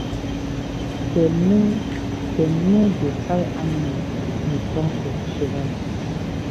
dem no dem no dey tie animal in front of shrine